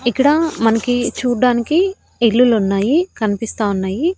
ఇక్కడ మనకి చూడ్డానికి ఇల్లులున్నాయి కన్పిస్తా ఉన్నాయి.